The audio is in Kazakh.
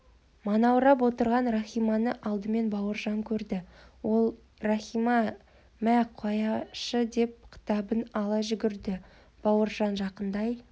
манаурап отырған рахиманы алдымен бауыржан көрді ол иахима мә қаяшы деп кітабын ала жүгірді бауыржан жақындай